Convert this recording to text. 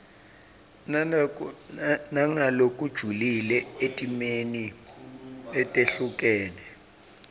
nangalokujulile etimeni letehlukene